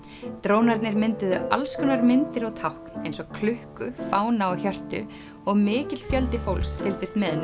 drónarnir mynduðu alls konar myndir og tákn eins og klukku fána og hjörtu og mikill fjöldi fólks fylgdist með